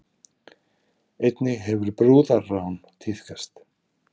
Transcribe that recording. Einnig hefur brúðarrán tíðkast